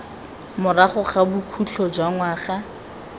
morago ga bokhutlo jwa ngwaga